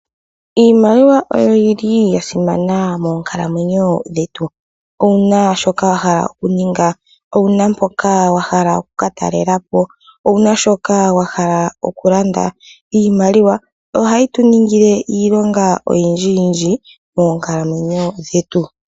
Iimaliwa oyo yi li ya simana moonkalamwenyo dhetu. Owu na shoka wa hala okuninga? Owu na mpoka wa hala oku ka talela po? Owu na shoka wa hala okulanda? Iimaliwa ohayi tu ningile iilonga oyindjiyindji monkaalamwenyo dhetu.